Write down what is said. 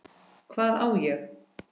Hvað á ég?